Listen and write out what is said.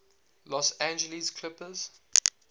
los angeles clippers